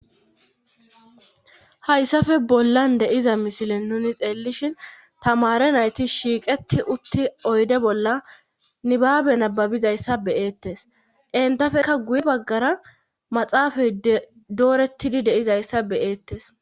hayssafe bollan deiza misile nuni xeelishin tamare nayti shiiqeti utti oyde bolla nibaabe nababizayssa beyeettes entafekka guye baggara maxaafay dooretidi deizayssa beeettes